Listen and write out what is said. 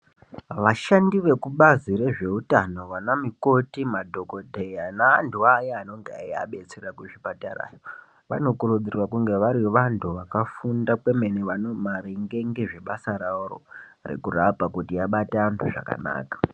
Vashandi vekubazi rezveutano vana mukoti madhokodheya neantu ayaa anenga eyiabetsera kuzvipatara vanokurudzirwa kunge vari vantu vakafunda kwemene maringe ngezvebasa raworo rekurapa kuti vabate antu zvakanaka .